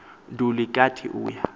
nduli kanti uya